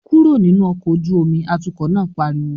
"Kúrò nínú ọkọ̀ ojú omi!", atukọ̀ náà pariwo